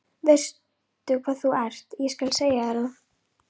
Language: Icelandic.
Veistu hvað þú ert, ég skal segja þér það.